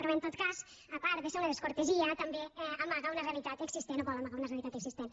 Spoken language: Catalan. però en tot cas a part de ser una descortesia també amaga una realitat existent o vol amagar una realitat existent